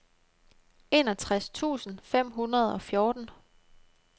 enogtres tusind fem hundrede og fjorten